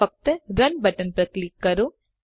ફક્ત run button પર click કરો